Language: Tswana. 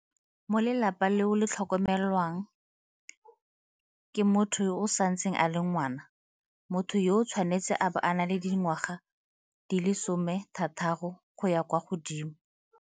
Mo lelapa leo le tlhokomelwang ke motho yo e santseng e le ngwana, motho yoo o tshwanetse a bo a na le dingwaga di le 16 go ya kwa godimo.